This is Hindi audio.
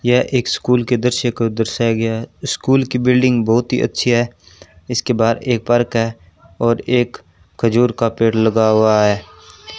यह एक स्कूल के दृश्य को दर्शाया गया है स्कूल की बिल्डिंग बहुत ही अच्छी है इसके बहार एक पार्क है और एक खजूर का पेड़ लगा हुआ है।